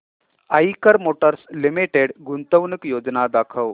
Eicher motors limited गुंतवणूक योजना दाखव